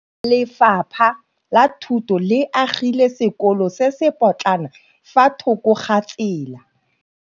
Lefapha la Thuto le agile sekôlô se se pôtlana fa thoko ga tsela.